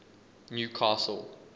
newcastle